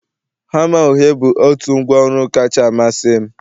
hama uhie bụ out ngwa ọru'm kacha amasị m